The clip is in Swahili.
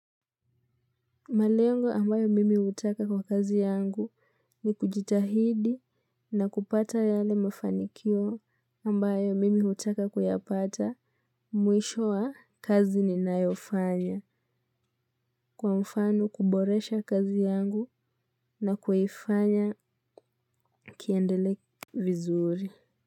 Malengo ambayo mimi hutaka kwa kazi yangu ni kujitahidi na kupata yale mafanikio ambayo mimi hutaka kuyapata mwisho wa kazi ni nayofanya kwa mfano kuboresha kazi yangu na kuifanya kiendelee vizuri.